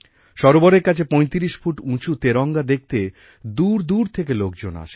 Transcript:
সরোবরের কাছে ৩৫ ফুট উচুঁ তেরঙ্গা দেখতে দূর দূর থেকে লোকজন আসেন